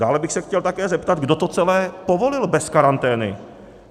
Dále bych se chtěl také zeptat, kdo to celé povolil bez karantény.